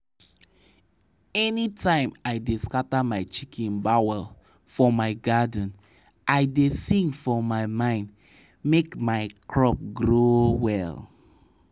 song wey we da we da sing for farm da different different de wan for yam get e own na so maize and okra get too